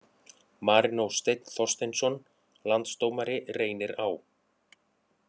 Marinó Steinn Þorsteinsson Landsdómari Reynir Á